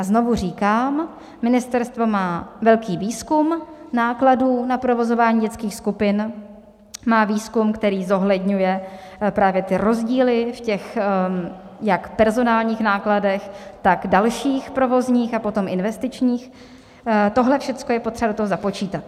A znovu říkám, ministerstvo má velký výzkum nákladů na provozování dětských skupin, má výzkum, který zohledňuje právě ty rozdíly v těch jak personálních nákladech, tak dalších provozních a potom investičních, tohle všechno je potřeba do toho započítat.